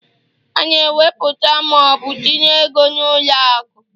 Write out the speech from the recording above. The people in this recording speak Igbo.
A na eweputa ma ọ bụ tinye ego n'ụlọ akụ